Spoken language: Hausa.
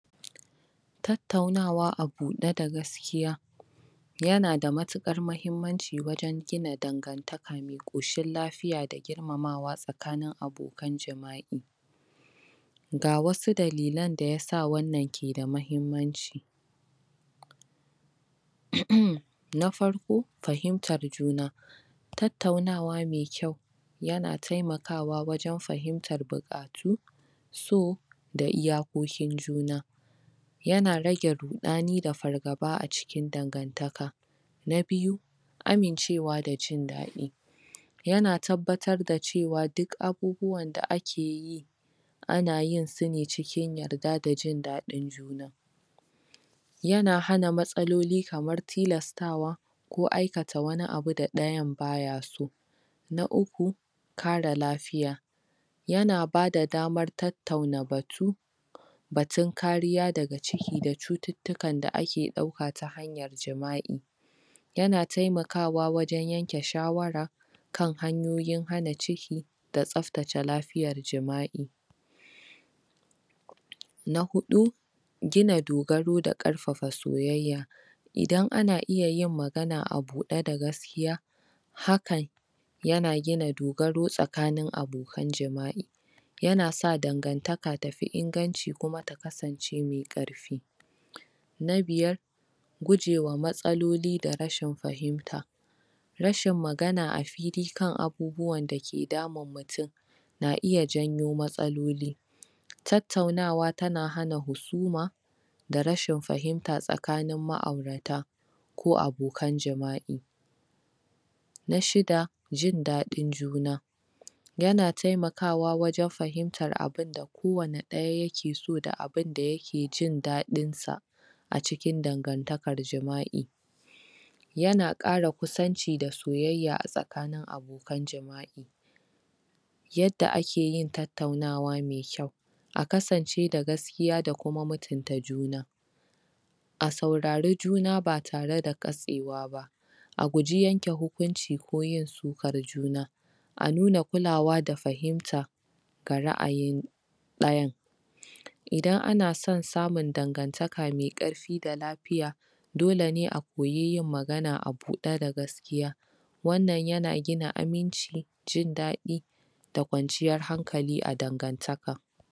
Tattaunawa a buɗe da gaskiya yanada matuƙar mahimmanci wajen gina dangantaka me ƙoshin lafiya da girmamawa tsakanin abokan jima'i Ga wasu dalilan da yasa wannan ke da mahimmanci? Na farko, fahimtar juna tattaunawa me kyau yana taimakawa wajen fahimtar buƙatu, so, da iyakokin juna yana rage ruɗani da fargaba a cikin dangantaka Na biyu, amincewa da jin daɗi yana tabbatar da cewa duk abubuwan da akeyi anayin sune cikin yarda da jin daɗin juna yana hana matsaloli kamar tilastawa, ko aikata wani abu da ɗayan bayaso na uku kare lafiya yana bada damar tattauna batu batun kariya daga ciki da cututtukan da ake ɗauka ta hanyar jima'i yana taimakawa wajen yanke shawara kan hanyoyin hana ciki da tsaftace lafiyar jima'i na huɗu gina dogaro da ƙarfafa soyayya idan ana iya yin magana a buɗe da gaskiya hakan yana gina dogaro tsakanin abokan jima'i yana sa dangantaka tafi inganci, kuma ta kasance me ƙarfi na biyar gujewa matsaloli da rashin fahimta rashin magana a fili kan abubuwan dake damun mutum na iya janyo matsaloli tattaunawa tana hana husuma da rashin fahimta tsakanin ma'aurata ko abokan jima'i na shida, jin daɗin juna yana taimakawa wajen fahimtar abinda kowane ɗaya yakeso da abinda yake jin daɗin sa a cikin dangantakar jima'i yana ƙara kusanci da soyayya a tsakanin abokan jima'i yadda akeyin tattaunawa me kyau a kasance da gaskiya da kuma mutunta juna a saurari juna ba tare da katsewa ba a guji yanke hukunci ko yin sukar juna a nuna kulawa da fahimta ga ra'ayin ɗayan idan ana son samun dangantaka me ƙarfi da lafiya dole ne a koyi yin magana a buɗe da gaskiya wannan yana gina aminci, jin daɗi da kwanciyar hankali a dangantaka.